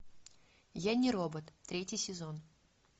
я не робот третий сезон